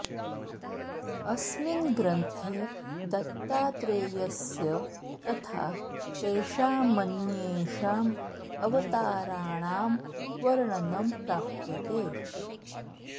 अस्मिन् ग्रन्थे दत्तात्रेयस्य तथा तेषामन्येषाम् अवताराणां वर्णनम् प्राप्यते